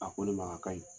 A ko ne ma a ka ɲi